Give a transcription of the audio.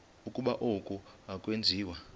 ukuba oku akwenziwa